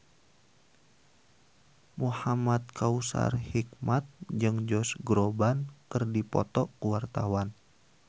Muhamad Kautsar Hikmat jeung Josh Groban keur dipoto ku wartawan